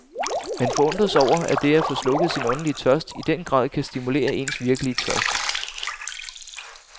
Man forundres over, at det at få slukket sin åndelige tørst i den grad kan stimulere ens virkelige tørst.